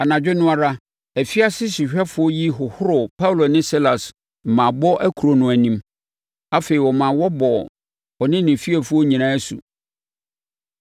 Anadwo no ara, afiase sohwɛfoɔ yi hohoroo Paulo ne Silas mmaabɔ akuro no anim. Afei, ɔmaa wɔbɔɔ ɔne ne fiefoɔ nyinaa asu.